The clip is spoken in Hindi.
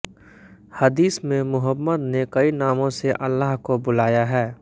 हदीस में मुहम्मद ने कई नामों से अल्लाह को बुलाया है